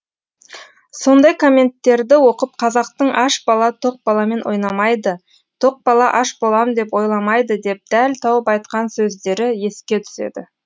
сондай комменттерді оқып қазақтың аш бала тоқ баламен ойнамайды тоқ бала аш болам деп ойламайды деп дәл тауып айтқан сөздері еске түседі